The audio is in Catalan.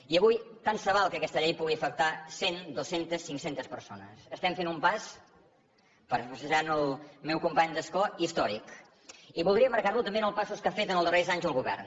i avui tant se val que aquesta llei pugui afectar cent dues centes cinc centes persones estem fent un pas parafrasejant el meu company d’escó històric i voldria emmarcar lo també en els passos que ha fet també els darrers anys el govern